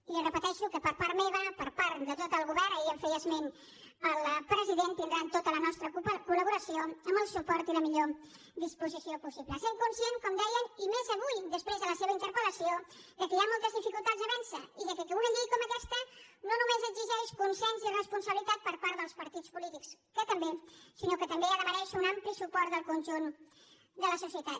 i li repeteixo que per part meva per part de tot el govern ahir en feia esment el president tindran tota la nostra col·laboració amb el suport i la millor disposició possible sent conscients com dèiem i més avui després de la seva interpel·lació que hi ha moltes dificultats a vèncer i que una llei com aquesta no només exigeix consens i responsabilitat per part dels partits polítics que també sinó que també ha de merèixer un ampli suport del conjunt de la societat